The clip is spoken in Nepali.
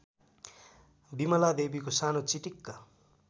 बिमलादेवीको सानो चिटिक्क